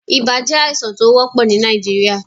Ibà jẹ́ àìsàn tó wọ́pò ni Nàìjíríà.